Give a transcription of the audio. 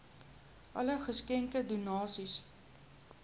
alle geskenke donasies